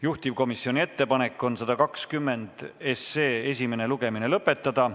Juhtivkomisjoni ettepanek on eelnõu 120 esimene lugemine lõpetada.